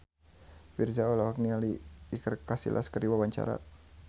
Virzha olohok ningali Iker Casillas keur diwawancara